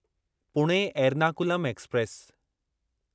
Pune Ernakulam express